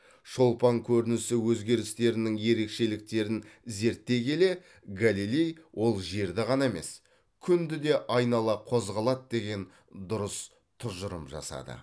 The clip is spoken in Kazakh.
шолпан көрінісі өзгерістерінің ерекшеліктерін зерттей келе галилей ол жерді ғана емес күнді де айнала қозғалады деген дұрыс тұжырым жасады